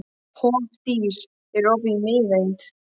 Hofdís, er opið í Miðeind?